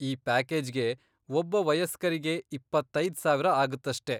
ಈ ಪ್ಯಾಕೇಜ್ಗೆ ಒಬ್ಬ ವಯಸ್ಕರಿಗೆ ಇಪ್ಪತ್ತೈದ್ ಸಾವಿರ ಆಗತ್ತಷ್ಟೇ.